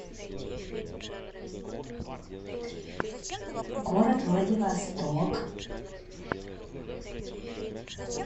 город владивосток